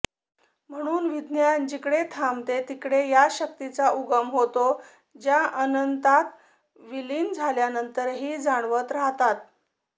म्हणून विज्ञान जिकडे थांबते तिकडे ह्या शक्तींचा उगम होतो ज्या अनंतात विलीन झाल्यानंतरहि जाणवत रहातात